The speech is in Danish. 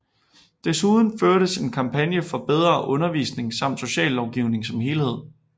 Desuden førtes en kampagne for bedre undervisning samt sociallovgivning som helhed